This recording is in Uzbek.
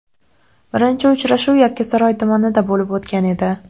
Birinchi uchrashuv Yakkasaroy tumanida bo‘lib o‘tgan edi.